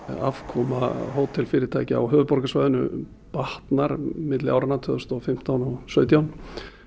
afkoma á höfuðborgarsvæðinu batnar milli áranna tvö þúsund og fimmtán og sautján